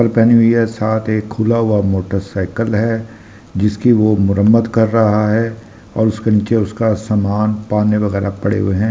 चप्पल पहनी हुई है साथ एक खुला हुआ मोटरसाइकिल है जिसकी वो मुरम्मत कर रहा है और उसके नीचे उसका सामान पाने वगैरह पड़े हुए हैं।